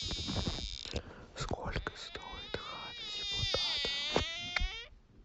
сколько стоит хата депутата